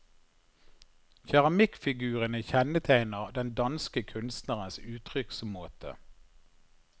Keramikkfigurene kjennetegner den danske kunstnerens uttrykksmåte.